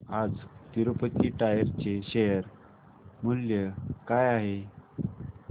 आज तिरूपती टायर्स चे शेअर मूल्य काय आहे